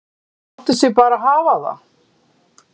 Þau láta sig bara hafa það.